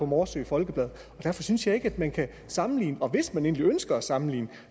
morsø folkeblad derfor synes jeg ikke at man kan sammenligne dem og hvis man endelig ønsker at sammenligne